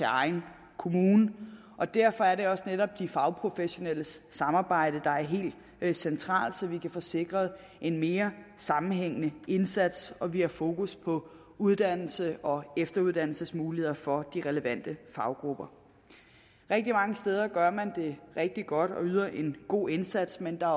egen kommune og derfor er netop de fagprofessionelles samarbejde der er helt centralt så vi kan få sikret en mere sammenhængende indsats og at vi har fokus på uddannelses og efteruddannelsesmuligheder for de relevante faggrupper rigtig mange steder gør man det rigtig godt og yder en god indsats men der